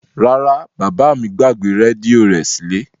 Rara, baba mi gbagbe redio rẹ sile.